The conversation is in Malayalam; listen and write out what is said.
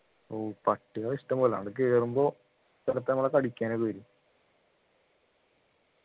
ഓ പട്ടികളിഷ്ടംപോലെ ആട കേറുമ്പോ ചിലത് നമ്മളെ കടിക്കാനൊക്കെ വരും